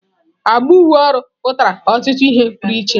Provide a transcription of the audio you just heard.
Agba uwe ọrụ pụtara ọtụtụ ihe pụrụ iche.